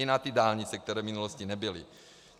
I na ty dálnice, které v minulosti nebyly.